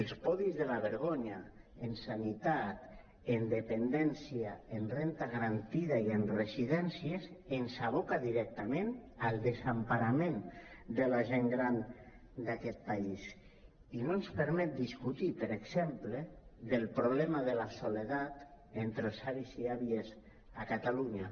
els podis de la vergonya en sanitat en dependència en renda garantida i en residèn·cies ens aboquen directament al desemparament de la gent gran d’aquest país i no ens permeten discutir per exemple del problema de la soledat entre els avis i àvies a catalunya